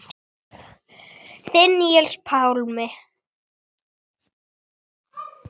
Þinn Niels Pálmi.